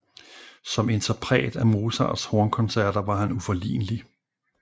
Som interpret af Mozarts hornkoncerter var han uforlignelig